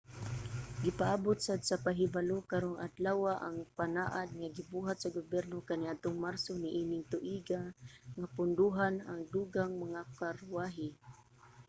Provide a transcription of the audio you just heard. gipaabot sad sa pahibalo karong adlawa ang panaad nga gibuhat sa gobyerno kaniadtong marso niining tuiga nga pondohan ang dugang mga karwahe